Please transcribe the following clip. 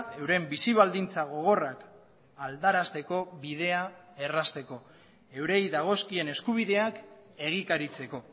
euren bizi baldintza gogorrak aldarazteko bidea errazteko eurei dagozkien eskubideak egikaritzeko